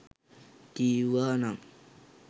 කිව්වා නම්